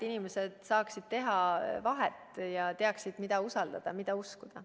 Inimesed saaksid sellel vahet teha ja teaksid, keda usaldada, mida uskuda.